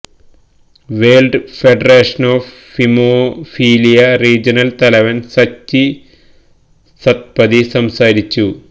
world federation of haemophilia regional തലവൻ സച്ചി സത്പതി സംസാരിച്ചു